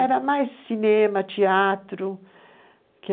Era mais cinema, teatro.